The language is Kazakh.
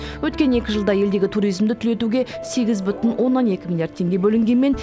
өткен екі жылда елдегі туризмді түлетуге сегіз бүтін оннан екі миллиард теңге бөлінгенмен